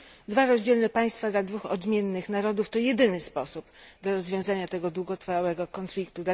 Dwa rozdzielne państwa dla dwóch odmiennych narodów to jedyny sposób dla rozwiązanie długotrwałego konfliktu.